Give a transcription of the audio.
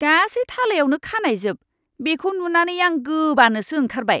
गासै थालायावनो खानाइजोब। बेखौ नुनानै आं गोबानोसो ओंखारबाय।